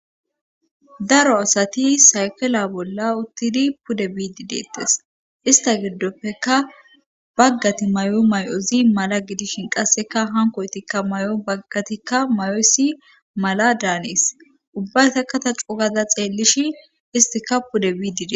Daro asati sayfela bolla uttidi pudde biidi deettes ista giddoppeka baggati may7o may7ozi mala gidishin qasseka hankoytikka may7o baggatikka mayoysi mala daanes ubbatakata cugaza xeelishi istika pudde biidide